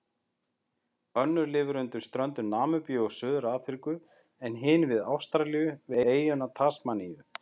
Önnur lifir undan ströndum Namibíu og Suður-Afríku en hin við Ástralíu, við eyjuna Tasmaníu.